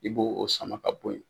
I bo o sama ka bɔ ye.